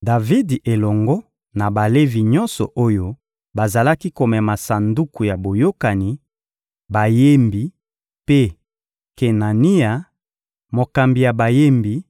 Davidi elongo na Balevi nyonso oyo bazalaki komema Sanduku ya Boyokani, bayembi mpe Kenania, mokambi ya bayembi: